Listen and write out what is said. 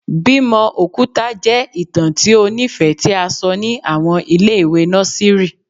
Bimo okuta jẹ itan ti o nifẹ ti a sọ ni awọn ile-iwe nọsìrì